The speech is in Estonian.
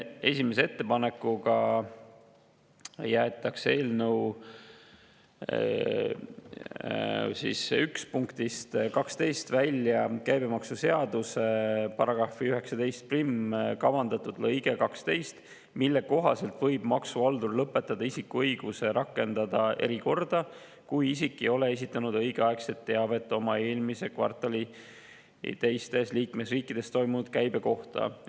Esimese ettepanekuga jäetakse eelnõu § 1 punktist 12 välja käibemaksuseaduse § 191 kavandatud lõige 12, mille kohaselt võib maksuhaldur lõpetada isiku õiguse rakendada erikorda, kui isik ei ole esitanud õigeaegselt teavet eelmises kvartalis teistes liikmesriikides tekkinud käibe kohta.